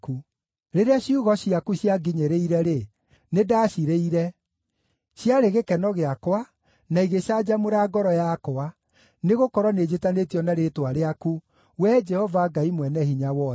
Rĩrĩa ciugo ciaku cianginyĩrĩire-rĩ, nĩndacirĩire; ciarĩ gĩkeno gĩakwa, na igĩcanjamũra ngoro yakwa, nĩgũkorwo nĩnjĩtanĩtio na rĩĩtwa rĩaku, Wee Jehova Ngai-Mwene-Hinya-Wothe.